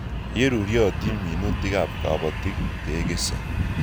Ye ruryotin minutik ap kapatik ke kesei.